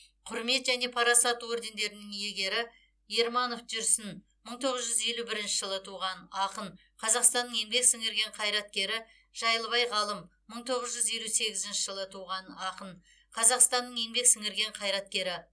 құрмет және парасат ордендерінің иегері ерманов жүрсін мың тоғыз жүз елу бірінші жылы туған ақын қазақстанның еңбек сіңірген қайраткері жайлыбай ғалым мың тоғыз жүз елу сегізінші жылы туған қазақстанның еңбек сіңірген қайраткері